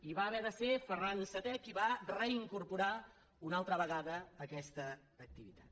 i va haver de ser ferran vii qui va reincorporar una altra vegada aquesta activitat